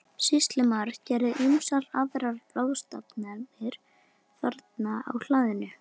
Sýslumaður gerði ýmsar aðrar ráðstafanir þarna á hlaðinu.